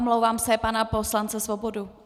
Omlouvám se, pana poslance Svobodu.